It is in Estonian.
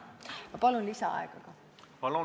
Ma palun lisaaega ka!